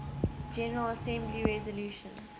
general assembly resolution